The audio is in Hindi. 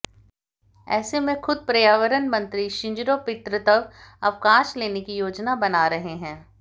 ऐसे में खुद पर्यावरण मंत्री शिंजिरो पितृत्व अवकाश लेने की योजना बना रहे हैं